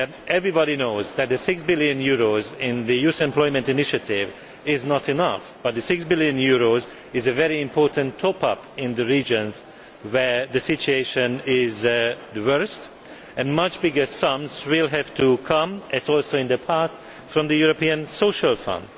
Everybody knows that the EUR 6 billion in the youth employment initiative is not enough but the EUR 6 billion is a very important top up in the regions where the situation is the worst and much bigger sums will have to come as also in the past from the European Social Fund.